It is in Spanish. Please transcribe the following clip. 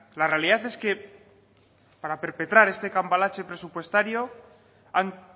la realidad es que para perpetrar este cambalache presupuestario han